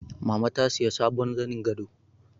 Mama ta sayi sabon zanin gado